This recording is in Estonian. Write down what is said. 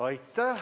Aitäh!